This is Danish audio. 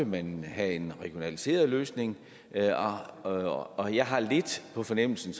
man have en regionaliseret løsning og og jeg har lidt på fornemmelsen